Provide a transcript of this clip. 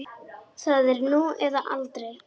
Það er nú eða aldrei.